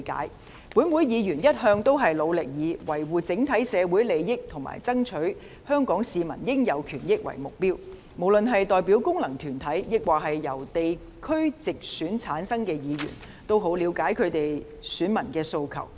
立法會議員一直努力以維護整體社會利益和爭取香港市民應有權益為目標，無論是代表功能界別或由地區直選產生的議員，均十分了解其選民的訴求。